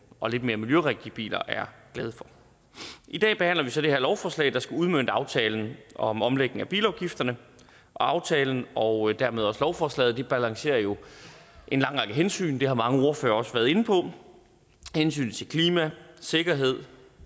og lidt mere miljørigtige biler er glade for i dag behandler vi så det her lovforslag der skal udmønte aftalen om omlægning af bilafgifterne aftalen og dermed også lovforslaget balancerer jo en lang række hensyn det har mange ordførere også været inde på hensynet til klima sikkerhed